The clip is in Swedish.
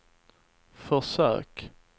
försök